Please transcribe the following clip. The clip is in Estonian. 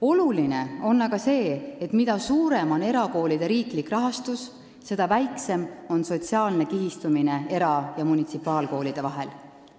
Oluline on aga see, et mida suurem on erakoolide riiklik rahastus, seda väiksem on sotsiaalne kihistumine era- ja munitsipaalkoolide vahel.